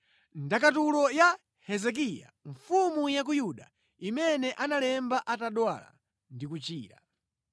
Ndakatulo ya Hezekiya mfumu ya ku Yuda imene analemba atadwala ndi kuchira: